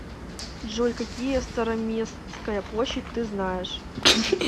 джой какие староместская площадь ты знаешь